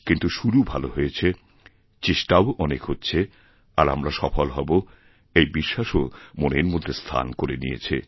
কিন্তু শুরুভালো হয়েছে চেষ্টাও অনেক হচ্ছে আর আমরা সফল হব এই বিশ্বাসও মনের মধ্যে স্থানকরে নিয়েছে